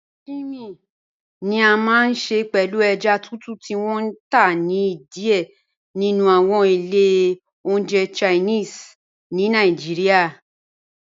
Sashimi ni à máa n ṣẹ pẹ̀lú èjá tùtù ti wọn n tá ni díẹ̀ nínu awọn ilẹ̀ ọ̀njẹ̀ Chinese ni Nàìjíríà.